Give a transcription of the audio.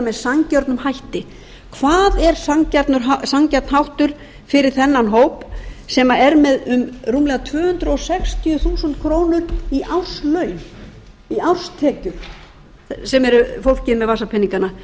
með sanngjörnum hætti hvað er sanngjarn háttur fyrir þennan hóp sem er með um rúmlega tvö hundruð sextíu þúsund krónur í árslaun í árstekjur sem er fólkið með vasapeningana